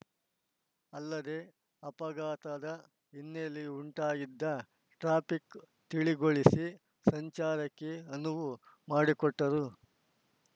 ಅಲ್ಲದೇ ಅಪಘಾತದ ಹಿನ್ನೆಲೆ ಉಂಟಾಗಿದ್ದ ಟ್ರಾಫಿಕ್‌ ತಿಳಿಗೊಳಿಸಿ ಸಂಚಾರಕ್ಕೆ ಅನುವು ಮಾಡಿಕೊಟ್ಟರು